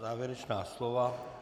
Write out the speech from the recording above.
Závěrečná slova?